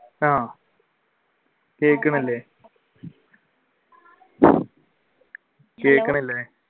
ആഹ് കേൾക്കുന്നുണ്ട് കേൾക്കുന്നുണ്ട്